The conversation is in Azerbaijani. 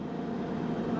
Haydı!